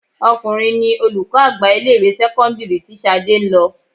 Ọkùnrin ní olùkọ́ àgbà ilé ìwé sẹ́kọ́ńdírì tí Ṣadé ń lọ.